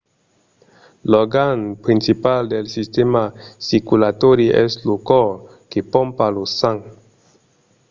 l'organ principal del sistèma circulatòri es lo còr que pompa lo sang